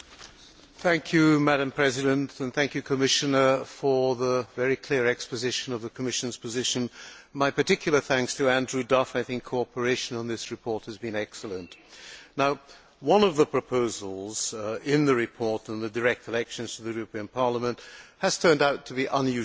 Madam President, I wish to thank the Commissioner for the very clear exposition of the Commission's position. My particular thanks also to Andrew Duff, as cooperation on this report has been excellent. One of the proposals in the report on direct elections to the European Parliament has turned out to be unusually challenging.